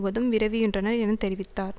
முழுவதும் விரவிகின்றன என்று தெரிவித்தார்